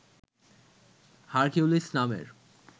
Hercules নামের